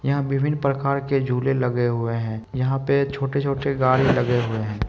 यहाँ विभिन प्रकार के झूले लगे हुए हैं। यहाँ पे छोटे-छोटे गाड़ी लगे हुए हैं।